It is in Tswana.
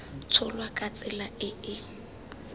tsholwa ka tsela e e